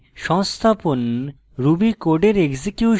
সংস্থাপন ruby কোডের execution